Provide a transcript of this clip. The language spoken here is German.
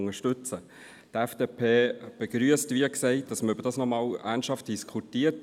Die FDP begrüsst, wie gesagt, dass man nochmals ernsthaft darüber diskutiert.